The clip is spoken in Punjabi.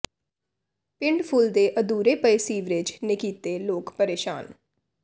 ਪਿੰਡ ਫੂਲ ਦੇ ਅਧੂਰੇ ਪਏ ਸੀਵਰੇਜ ਨੇ ਕੀਤੇ ਲੋਕ ਪਰੇਸ਼ਾਨ